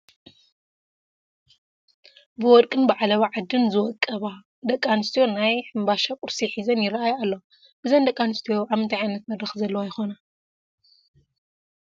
ብወርቅን ብዓለባ ዓድን ዝወቀባ ደቂ ኣንስትዮ ናይ ሕምባሻ ቁርሲ ሒዘን ይርአያ ኣለዋ፡፡ እዘን ደቂ ኣንስትዮ ኣብ ምንታይ ዓይነት መድረኽ ዘለዋ ይኾና?